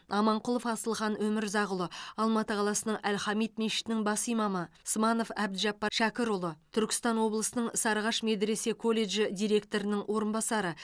аманқұлов асылхан өмірзақұлы алматы қаласының әл хамид мешітінің бас имамы сманов әбдіжаппар шәкірұлы түркістан облысының сарыағаш медресе колледжі директорының орынбасары